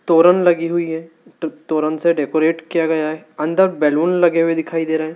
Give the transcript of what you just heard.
तोरन लगी हुई है तोरन से डेकोरेट किया गया है अंदर बैलून लगे हुए दिखाई दे रहे--